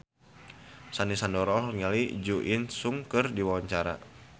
Sandy Sandoro olohok ningali Jo In Sung keur diwawancara